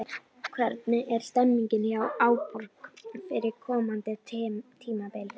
Hvernig er stemningin hjá Árborg fyrir komandi tímabil?